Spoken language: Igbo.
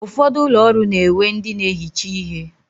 Ụfọdụ ụlọ ọrụ na-ewe ndị na-ehicha ihe.